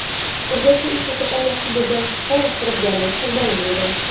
Urganchda uy sotib olmoqchi bo‘lgan fuqaro firibgarlik qurboni bo‘ldi.